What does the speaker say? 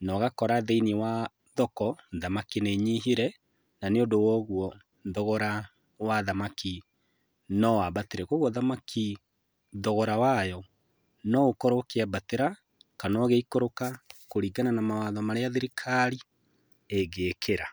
na ũgakora thĩinĩ wa thoko thamaki nĩ inyihire na nĩũndũ woguo thogora wa thamaki no wambatire. Kwoguo thamaki thogora wayo no ũkorwo ũkĩambatĩra kana ũgĩikũrũka kũringana na mawatho marĩa thirikari ĩngĩkĩra.